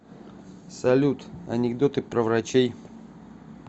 салют анекдоты про врачей